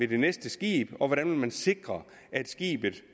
det næste skib og hvordan man vil sikre